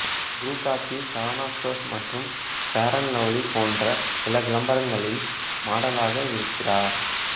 புரு coffee Saravana stores மற்றும் Fair and Lovely போன்ற சில விளம்பரங்களில் மாடலாக இருந்திருக்கிறார்